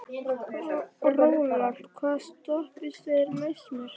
Rólant, hvaða stoppistöð er næst mér?